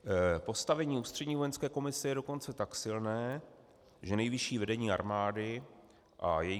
Postavení Ústřední vojenské komise je dokonce tak silné, že nejvyšší vedení armády a její